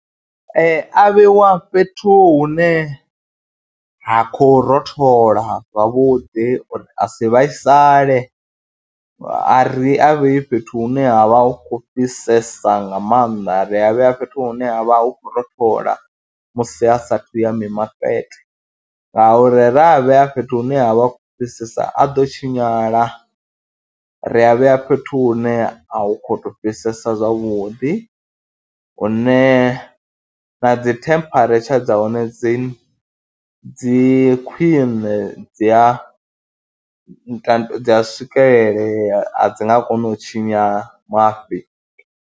Ee, a vheiwa fhethu hune ha khou rothola zwavhuḓi uri a si vhaisale, a ri a vhei fhethu hune ha vha hu khou fhisesa nga maanḓa, ri a vhea fhethu hune ha vha hu khou rothola musi a saathu ya mimakete ngauri ra vhea fhethu hune ha vha hu khou fhisesa a ḓo tshinyala. Ri a vhea fhethu hune a hu khou tou fhisesa zwavhuḓi, hune na dzi temperature dza hone dzi dzi khwiṋe dzi a dza swikelelea, a dzi nga koni u tshinya mafhi.